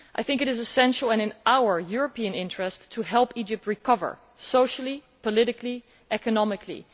It is essential, and it is in our European interest, to help Egypt recover socially, politically and economically.